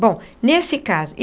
Bom, nesse caso.